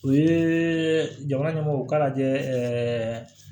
U ye jamana ɲɛmɔgɔw k'a lajɛ ɛɛ